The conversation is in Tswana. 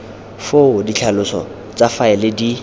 foo ditlhaloso tsa faele di